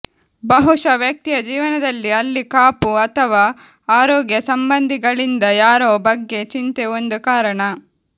ಬಹುಶಃ ವ್ಯಕ್ತಿಯ ಜೀವನದಲ್ಲಿ ಅಲ್ಲಿ ಕಾಪು ಅಥವಾ ಆರೋಗ್ಯ ಸಂಬಂಧಿಗಳಿಂದ ಯಾರೋ ಬಗ್ಗೆ ಚಿಂತೆ ಒಂದು ಕಾರಣ